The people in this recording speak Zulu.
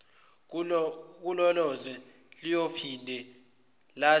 kulelozwe liyophinde lazise